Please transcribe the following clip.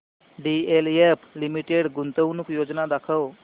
DLF limited गुंतवणूक योजना दाखव